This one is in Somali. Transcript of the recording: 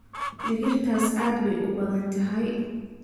digirtaas aad bay u badan tahay